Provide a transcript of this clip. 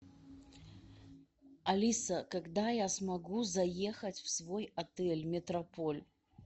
алиса когда я смогу заехать в свой отель метрополь